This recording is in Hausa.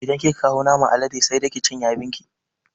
Idan kika kawo naman alade sai dai ki cinye abin ki